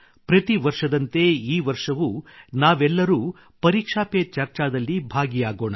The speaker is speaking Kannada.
ಪ್ರತಿ ವರ್ಷದಂತೆ ಈ ವರ್ಷವೂ ನಾವೆಲ್ಲರೂ ಪರೀಕ್ಷಾ ಪೆ ಚರ್ಚಾದಲ್ಲಿ ಭಾಗಿಯಾಗೋಣ